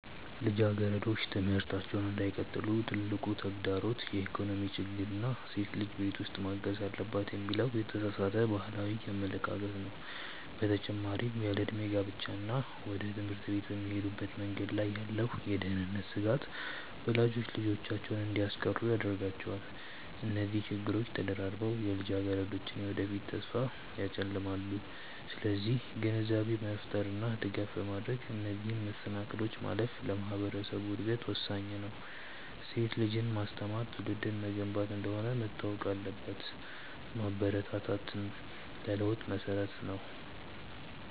ልጃገረዶች ትምህርታቸውን እንዳይቀጥሉ ትልቁ ተግዳሮት የኢኮኖሚ ችግር እና ሴት ልጅ ቤት ውስጥ ማገዝ አለባት የሚለው የተሳሳተ ባህላዊ አመለካከት ነው። በተጨማሪም ያለዕድሜ ጋብቻ እና ወደ ትምህርት ቤት በሚሄዱበት መንገድ ላይ ያለው የደህንነት ስጋት ወላጆች ልጆቻቸውን እንዲያስቀሩ ያደርጋቸዋል። እነዚህ ችግሮች ተደራርበው የልጃገረዶችን የወደፊት ተስፋ ያጨልማሉ። ስለዚህ ግንዛቤ በመፍጠር እና ድጋፍ በማድረግ እነዚህን መሰናክሎች ማለፍ ለማህበረሰቡ እድገት ወሳኝ ነው። ሴት ልጅን ማስተማር ትውልድን መገንባት እንደሆነ መታወቅ አለበት። ማበረታታት ለለውጥ መሰረት ነው።